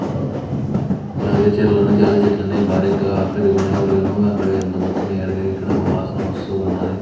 అలాగే చేన్లోనా జాలి చెట్లన్నీ బారిగ్గా పెరిగిపోయినాయి అంత మొత్తం ఏరిగాయి ఇక్కడ వాసన వస్తూ ఉన్నది.